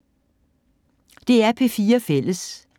DR P4 Fælles